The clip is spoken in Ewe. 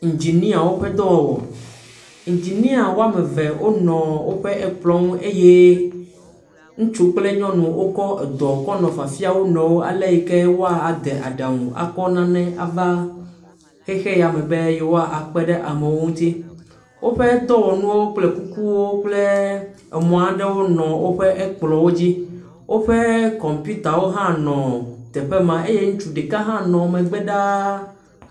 Indziniawo ƒe dɔwɔwɔ. Indzinia wo ame eve nɔ woƒe kplɔ̃ ŋu eye ŋutsu kple nyɔnu wokɔ edɔ kɔle fafia wo nɔewo ale yi ke woade aɖaŋu akɔ nane ava xexe ya me be yewo akpe ɖe ame ŋuti. Woƒe dɔwɔnuwo kple kukuwo kple emɔ aɖewo nɔ woƒe ekplɔ̃wo dzi. Woƒe kɔmpiutawo hãnɔ teƒe ma. Eye ŋutsu ɖeka hã nɔ woƒe megbe ɖaa.